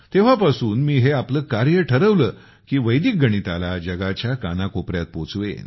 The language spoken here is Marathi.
तेव्हा पासून मी हे आपले कार्य उद्देश्य ठरवले की गणिताला जगाच्या कान कोपरयात पोचवेन